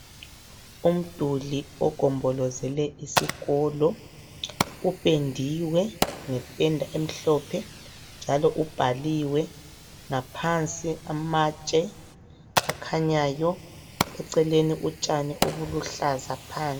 Umduli ogombolozele isikolo upendiwe ngependa emhlophe njalo ubhaliwe ngaphansi amatshe akhanyayo eceleni utshani obuluhlaza phansi.